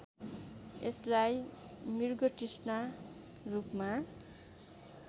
यसलाई मृगतृष्णा रूपमा